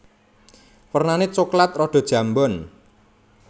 Wernané coklat rada njambon